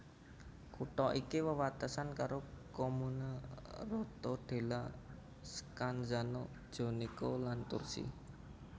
Kutha iki wewatesan karo commune Rotondella Scanzano Jonico lan Tursi